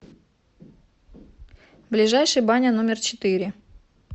ближайший баня номер четыре